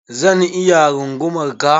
Zan iya rungumar ka?